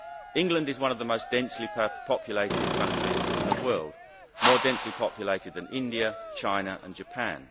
England is one of the most densely populated countries in the world more densely populated than India, China or Japan.